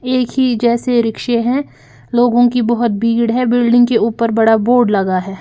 एक ही जैसे रिक्शे हैं लोगों की बहुत भीड़ है बिल्डिंग के ऊपर बड़ा बोर्ड लगा है।